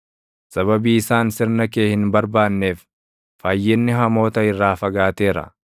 Sababii isaan sirna kee hin barbaanneef, fayyinni hamoota irraa fagaateera.